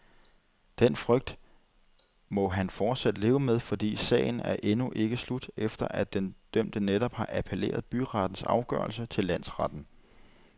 Den frygt må han fortsat leve med, fordi sagen er endnu ikke slut, efter at den dømte netop har appelleret byrettens afgørelse til landsretten.